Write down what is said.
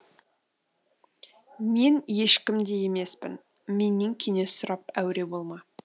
мен ешкім де емеспін менен кеңес сұрап әуре болма